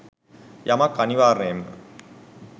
යමක් අනිවාර්යයෙන්ම